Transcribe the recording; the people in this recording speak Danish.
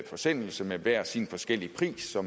forsendelse med hver sin forskellige pris som